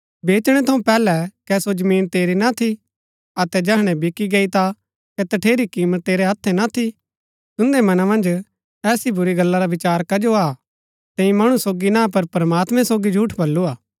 बेचणै थऊँ पैहलै कै सो जमीन तेरी ना थी अतै जैहणै बिकी गई ता कै तठेरी कीमत तेरै हत्थै ना थी तुन्दै मना मन्ज ऐसा बुरी गल्ला रा विचार कजो आ तैंई मणु सोगी ना पर प्रमात्मैं सोगी झूठ बलूआ